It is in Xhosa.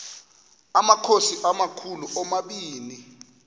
amakhosi amakhulu omabini